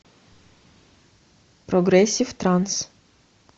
прогрессив транс